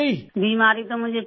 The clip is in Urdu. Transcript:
بیماری تو مجھے 15